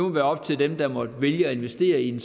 være op til dem der måtte vælge at investere i en